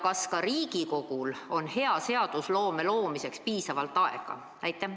Kas ka Riigikogul on heaks seadusloomeks piisavalt aega?